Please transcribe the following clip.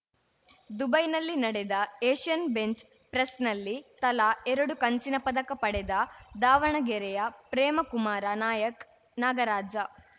ದುಬೈನಲ್ಲಿ ನಡೆದ Asian bench ಪ್ರೆಸ್‌ನಲ್ಲಿ ತಲಾ ಎರಡು ಕಂಚಿನ ಪದಕ ಪಡೆದ ದಾವಣಗೆರೆಯ ಪ್ರೇಮಕುಮಾರ ನಾಯಕ್ ನಾಗರಾಜ